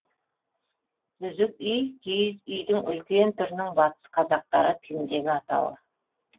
үзік үи киіз үйдің үлкен түрінің батыс қазақтары тіліндегі атауы